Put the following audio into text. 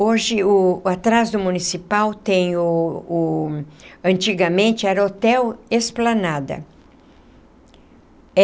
Hoje o, atrás do municipal tem o o... antigamente era o Hotel Esplanada.